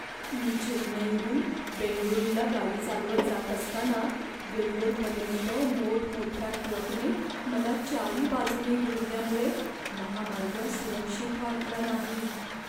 मी चेन्नईहून बेंगळुरूला गाडी चालवत जात असताना वेल्लोरपर्यंत मोठमोठ्या ट्रकने मला चारीबाजूने घेरल्यामुळे महामार्ग सुरक्षित वाटला नाही.